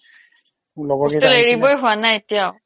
hostel এৰিবই হোৱা নাই এতিয়াও